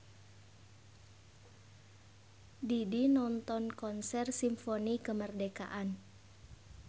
Didi nonton konser Simfoni Kemerdekaan